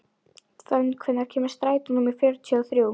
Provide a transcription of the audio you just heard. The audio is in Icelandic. Fönn, hvenær kemur strætó númer fjörutíu og þrjú?